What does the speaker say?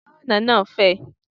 Ǹjẹ́ ọ̀nà náà fẹ̀?